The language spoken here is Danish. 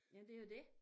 Jamen det jo dét